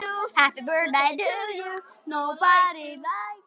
Ólína amma mín er dáin.